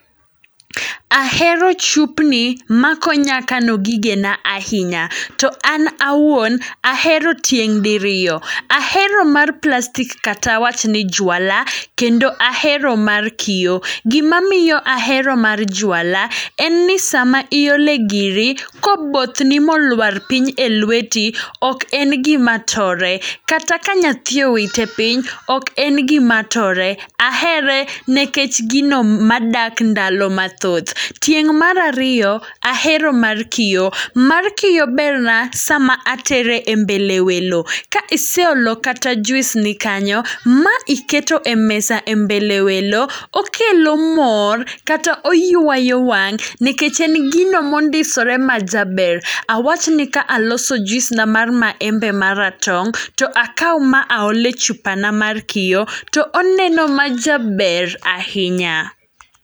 Ahero chupni ma konya kano gigena ahinya, to an awuon ahero tieng' diriyo. Ahero mar plastic kata awach ni juala, kendo ahero mar kiyo. Gima miyo ahero mar juala, en ni sama iole giri, kobothni molwar piny e lweti, ok en gima tore. Kata ka nyathi owite piny, ok en gima tore. Ahere nekech gino madak ndalo mathoth. Tieng' marariyo, ahero mar kiyo. Mar kiyo berna sama atere e mbele welo, ka iseolo kata juis ni kanyo, ma iketo e mesa e mbele welo, okelo mor. kata oywayo wang', nekech en gino mondisore majaber. Awach ni ka aloso juis na mar maembe maratong', to akaw ma aole chupana mar kiyo, to oneno ma jaber ahinya.